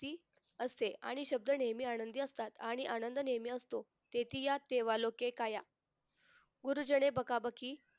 क्ती असते आणि शब्द नेहमी आनंदी असतात आणि आनंद नेहमी असतो तेथे या सेवा लोके काया गुरुजन बकाबकी